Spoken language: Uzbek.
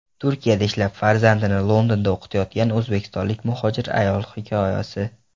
Turkiyada ishlab, farzandini Londonda o‘qitayotgan o‘zbekistonlik muhojir ayol hikoyasi.